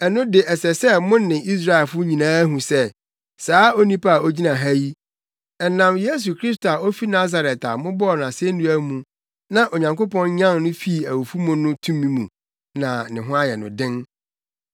ɛno de ɛsɛ sɛ mo ne Israelfo nyinaa hu sɛ saa onipa a ogyina ha yi, ɛnam Yesu Kristo a ofi Nasaret a mobɔɔ no asennua mu na Onyankopɔn nyan no fii awufo mu no tumi mu na ne ho ayɛ no den.”